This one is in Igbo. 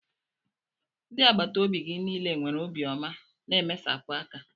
Ndị agbata obi gị niile nwere obiọma na mmesapụ aka